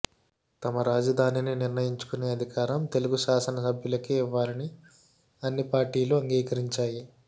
తమ రాజధానిని నిర్ణయించుకునే అధికారం తెలుగు శాసనసభ్యులకే ఇవ్వాలని అన్ని పార్టీలు అంగీకరించాయి